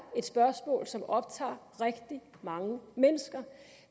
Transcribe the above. et spørgsmål som optager rigtig mange mennesker